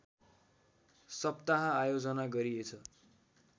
सप्ताह आयोजना गरिएछ